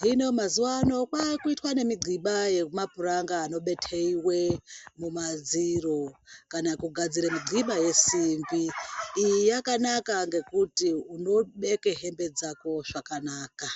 hino mazuwano kwakuitwa nemidhliba yemapuranga anobetewe mumadziro kana kugadzira midhliba yesimbi. Iyi yakanaka ngekuti unobeke hembe dzako zvakanaka.